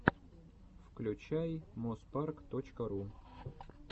включай моспарк точка ру